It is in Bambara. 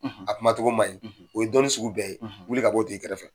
A kuma cogo ma ɲi. O ye dɔnni sugu bɛɛ ye. wili ka b'o t'i kɛrɛfɛ.